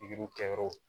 Pikiriw kɛyɔrɔw